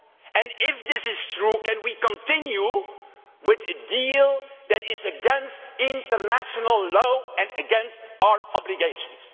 And if this is true, can we continue with a deal that is against international law and against our obligations?